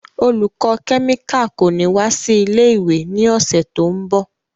Olùkọ́ kẹ́míkà kò ní wá sí ilé-ìwé ní ọ̀sẹ̀ tó ń bọ̀.